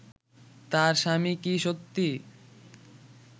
তার স্বামী কি সত্যি